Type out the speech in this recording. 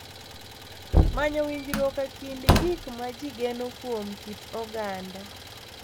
Manyo winjruok e kind gik ma ji geno kuom kit oganda